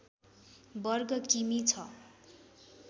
वर्ग किमी छ